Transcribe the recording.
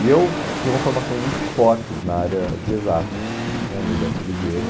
E eu tinha uma formação muito forte na área de exatas né, no Dante Alighieri.